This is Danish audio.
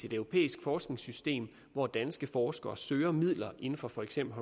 et europæisk forskningssystem hvor danske forskere søger midler inden for for eksempel